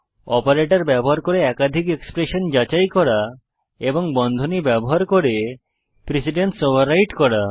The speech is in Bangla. অপারেটর ব্যবহার করে একাধিক এক্সপ্রেশন যাচাই করা এবং বন্ধনী ব্যবহার করে প্রিসিডেন্স ওভাররাইট করা